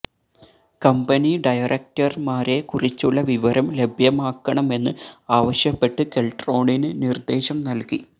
company ഡയറക്ടർമാരെ കുറിച്ചുള്ള വിവരം ലഭ്യമാക്കണമെന്ന് ആവശ്യപ്പെട്ട് കെൽട്രോണിന് നിർദ്ദേശം നൽകി